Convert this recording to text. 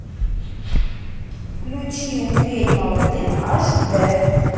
включи умереть молодым аш д